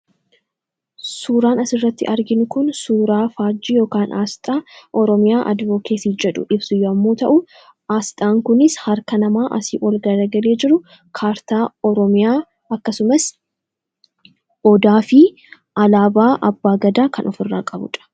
Suuraan asirratti arginu kun suuraa faajjii yookaan aasxaa oromiyaa adivokeesii jedhu ibsu yommuu ta'u, aasxaan kunis harka namaa asii ol gargaree jiru kaartaa oromiyaa akkasumas odaafi alaabaa abbaa gadaa kan ofirraa qabudha.